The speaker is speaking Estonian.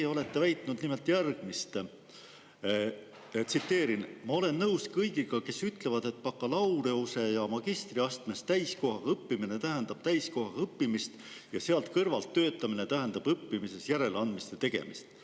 Teie olete öelnud nimelt järgmist, tsiteerin: "Ma olen nõus kõigiga, kes ütlevad, et bakalaureuse- ja magistriastmes täiskohaga õppimine tähendab täiskohaga õppimist ja sealt kõrvalt töötamine tähendab õppimises järeleandmiste tegemist.